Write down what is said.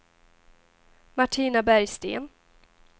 Martina Bergsten